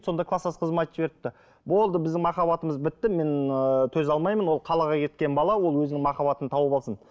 сонда кластас қызыма айтып жіберіпті болды біздің махаббатымыз бітті мен ыыы төзе алмаймын ол қалаға кеткен бала ол өзінің махаббатын тауып алсын